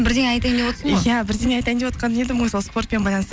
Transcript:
бірдеңе айтайын деп отсың ғой иә бірдеңе айтайын деп отқан едім ғой сол спортпен байланысты